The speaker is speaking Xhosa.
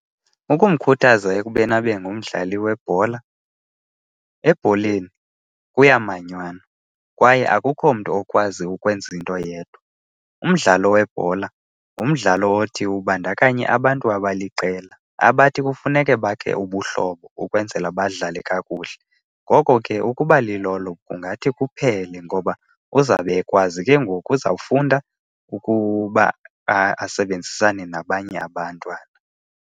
Ukumkhuthaza ekubeni abe ngumdlali webhola, ebholeni kuyamanywanwa kwaye akukho mntu okwazi ukwenza into yedwa. Umdlalo webhola ngumdlalo othi ubandakanye abantu abaliqela abathi kufuneke bakhe ubuhlobo ukwenzela badlale kakuhle. Ngoko ke ukuba lilolo kungathi kuphele ngoba kuzawube ekwazi ke ngoku, uzawufunda ukuba asebenzisane nabanye abantwana.